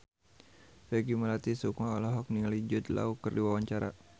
Peggy Melati Sukma olohok ningali Jude Law keur diwawancara